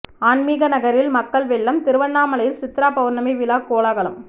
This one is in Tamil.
ஆன்மிக நகரில் மக்கள் வெள்ளம் திருவண்ணாமலையில் சித்ரா பவுர்ணமி விழா கோலாகலம்